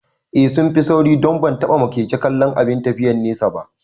Eh sunfi sauri don ban taɓa ma keke kallon abin tafiyan nesa ba